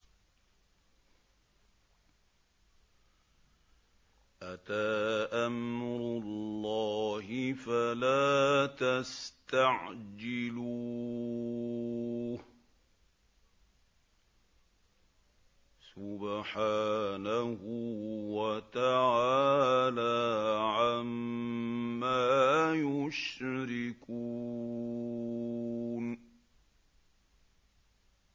أَتَىٰ أَمْرُ اللَّهِ فَلَا تَسْتَعْجِلُوهُ ۚ سُبْحَانَهُ وَتَعَالَىٰ عَمَّا يُشْرِكُونَ